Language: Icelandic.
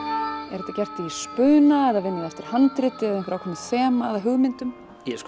er þetta gert í spuna eða vinnið þið eftir handriti eða ákveðnu þema eða hugmyndum